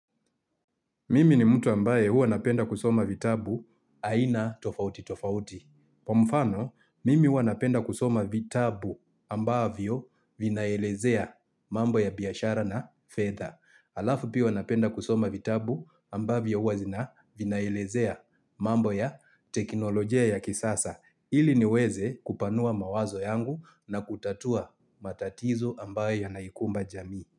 Mimi ni mtu ambaye hua napenda kusoma vitabu aina tofauti tofauti. Kwa mfano, mimi hua napenda kusoma vitabu ambavyo vinaelezea mambo ya biashara na fedha. Alafu pia huwa napenda kusoma vitabu ambavyo hua vinaelezea mambo ya teknolojia ya kisasa. Ili niweze kupanua mawazo yangu na kutatua matatizo ambaye yanaikumba jamii.